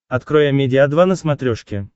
открой амедиа два на смотрешке